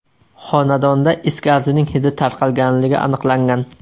Xonadonda is gazining hidi tarqalganligi aniqlangan.